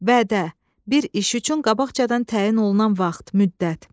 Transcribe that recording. Vədə, bir iş üçün qabaqcadan təyin olunan vaxt, müddət.